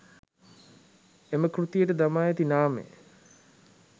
එම කෘතියට දමා ඇති නාමය